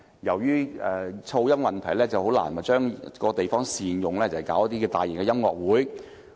由於噪音問題，難以善用場地來舉行大型音樂會。